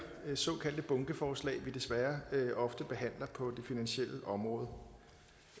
såkaldte bunkeforslag vi desværre ofte behandler på det finansielle område